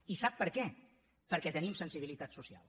i sap per què perquè tenim sensibilitat social